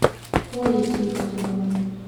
колей тихоновым